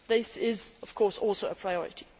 This is, of course, also a priority.